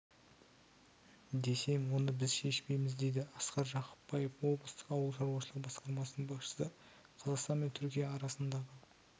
десем оны біз шешпейміз дейді асқар жақыпбаев облыстық ауыл шаруашылығы басқармасының басшысы қазақстан мен түркия арасындағы